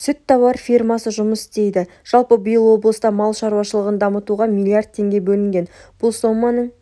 сүт-тауар фермасы жұмыс істейді жалпы биыл облыста мал шаруашылығын дамытуға млрд теңге бөлінген бұл соманың